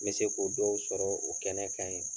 N be se k'u dɔw sɔrɔ o kɛnɛ kan ye.